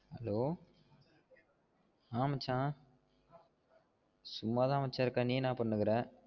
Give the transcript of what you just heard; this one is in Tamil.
Hello அஹ் மச்சா சும்மாத மச்சா இருக்கே நீ என்ன பண்ணினு இருக்க?